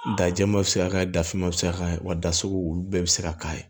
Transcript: Da jɛman bɛ se ka k'a ye da fiman bɛ se ka k'a ye wa dasugu olu bɛɛ bɛ se ka k'a ye